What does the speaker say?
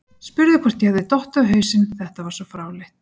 Spurði hvort ég hefði dottið á hausinn, þetta var svo fráleitt.